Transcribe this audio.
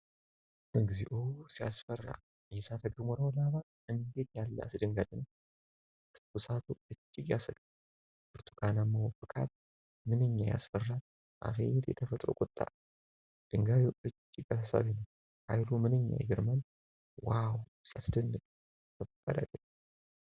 እግዚኦ ሲያስፈራ! የእሳተ ገሞራው ላቫ እንዴት ያለ አስደንጋጭ ነው! ትኩሳቱ እጅግ ያሰጋል። ብርቱካናማው ፍካት ምንኛ ያስፈራል! አቤት የተፈጥሮ ቁጣ! ድንጋዩ እጅግ አሳሳቢ ነው። ኃይሉ ምንኛ ይገርማል! ዋው ሲያስደንቅ! ከባድ አደጋ!